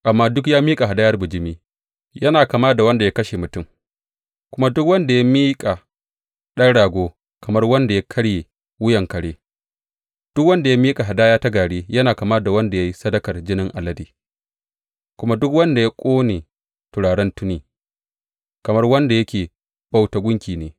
Amma duk ya miƙa hadayar bijimi yana kama da wanda ya kashe mutum, kuma duk wanda ya miƙa ɗan rago, kamar wanda ya karye wuyan kare; duk wanda ya miƙa hadaya ta gari yana kama da wanda ya yi sadakar jinin alade, kuma duk wanda ya ƙone turaren tuni, kamar wanda yake bauta gunki ne.